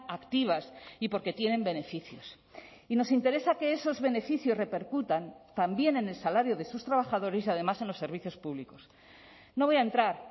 activas y porque tienen beneficios y nos interesa que esos beneficios repercutan también en el salario de sus trabajadores y además en los servicios públicos no voy a entrar